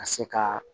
Ka se ka